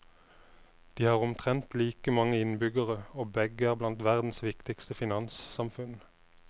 De har omtrent like mange innbyggere, og begge er blant verdens viktigste finanssamfunn.